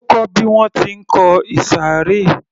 Ó kó bí wọ́n ti ń kọ ìsàré